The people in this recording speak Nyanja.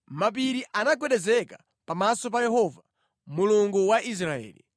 Mapiri anagwedezeka pamaso pa Yehova, Mulungu wa Israeli.